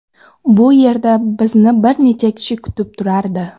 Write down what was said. Bu yerda bizni bir necha kishi kutib turardi.